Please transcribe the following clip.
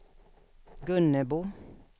Gunnebo